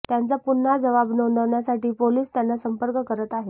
त्यांचा पुन्हा जबाब नोंदवण्यासाठी पोलीस त्यांना संपर्क करत आहेत